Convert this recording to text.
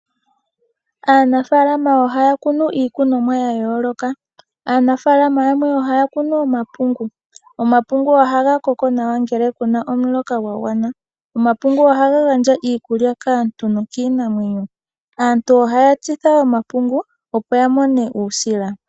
Aanafalama ohaya kunu iikunomwa yayooloka. aanafalama yamwe ohaya kunu omapungu, omapungu ohaga koko nawa ngele puna omuloka gwa gwana. Omapungu ohaga gandja iikulya kaantu nokiinamwenyo, aantu ohaya tsitha omapungu opo yamone uusila.